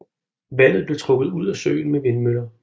Vandet blev trukket ud af søen med vindmøller